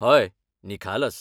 हय, निखालस!